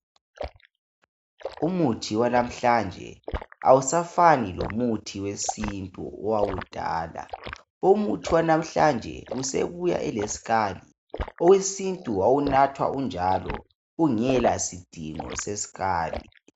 Umuthi walamhlanje awusafani lomuthi wesintu owakudala. Umuthi wanamuhla usebuya ulesikhali owesintu wawunathwa unjalo ungela sidingo sesikali.